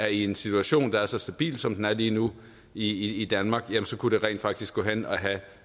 i en situation der er så stabil som den er lige nu i danmark rent faktisk kunne gå hen og have